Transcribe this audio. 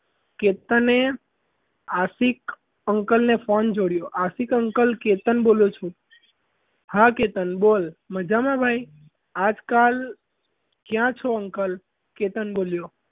કે તને આશિક અંકલને phone જોડ્યો આશિક અંકલ કેતન બોલું છું હા કેતન બોલ મજામાં ભાઈ આજકાલ ક્યાં છો અંકલ કેતન બોલ્યો.